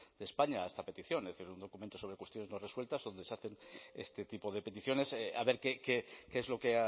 de españa a esta petición es decir un documento sobre cuestiones no resueltas donde se hacen este tipo de peticiones a ver qué es lo que